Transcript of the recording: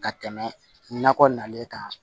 Ka tɛmɛ nakɔ nalen kan